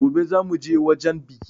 Gobe zan mu je wajan bikin.